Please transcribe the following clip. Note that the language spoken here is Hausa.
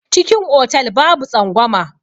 Cikin otal babu tsangwama.